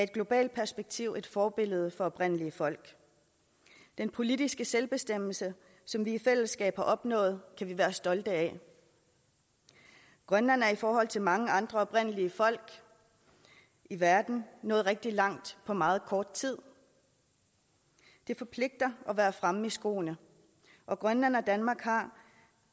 globalt perspektiv et forbillede for oprindelige folk den politiske selvbestemmelse som vi i fællesskab har opnået kan vi være stolte af grønland er i forhold til mange andre oprindelige folk i verden nået rigtig langt på meget kort tid det forpligter at være fremme i skoene og grønland og danmark har